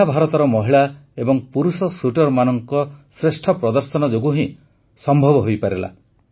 ଏହା ଭାରତର ମହିଳା ଏବଂ ପୁରୁଷ ଶୁଟର୍ମାନଙ୍କ ଶ୍ରେଷ୍ଠ ପ୍ରଦର୍ଶନ ଯୋଗୁଁ ହିଁ ସମ୍ଭବ ହୋଇପାରିଲା